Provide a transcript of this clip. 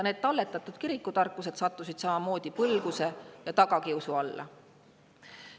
Need talletatud kirikutarkused sattusid samamoodi põlguse ja tagakiusu alla.